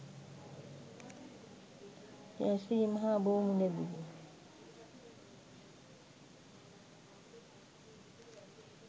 ජය ශ්‍රී මහා බෝ මුල දී